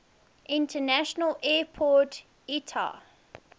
international airport iata